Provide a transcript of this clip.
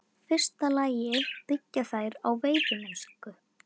fyrsta lagi byggja þær á veiðimennsku.